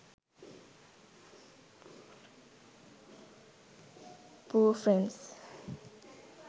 pooh friends